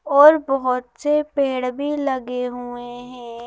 और बहुत से पेड़ भी लगे हुए हैं।